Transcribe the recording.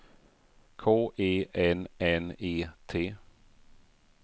K E N N E T